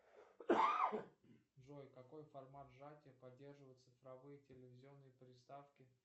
джой какой формат сжатия поддерживают цифровые телевизионные приставки